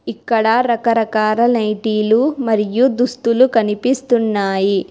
ఇక్కడ రకరకాల నైటీలు మరియు దుస్తులు కనిపిస్తున్నాయి.